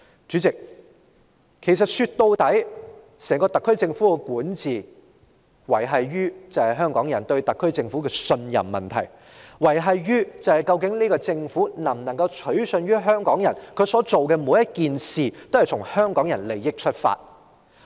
主席，說到底，整個特區政府的管治，是維繫於香港人對特區政府的信任，維繫於究竟這個政府能否取信於香港人，它所做的每一件事是否均從香港人的利益出發。